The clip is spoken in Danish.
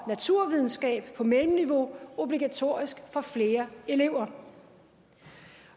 og naturvidenskab på mellemniveau obligatorisk for flere elever